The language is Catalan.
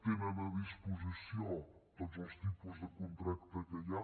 tenen a disposició tots els tipus de contracte que hi ha